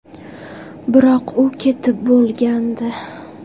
Biroq u ketib bo‘lgandi”.